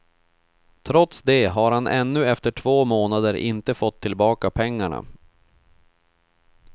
Trots det har han ännu efter två månader inte fått tillbaka pengarna.